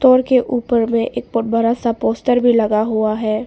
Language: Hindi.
के ऊपर में एक बड़ा सा पोस्टर भी लगा हुआ है।